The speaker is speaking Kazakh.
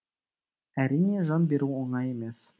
әрине жан беру оңай емес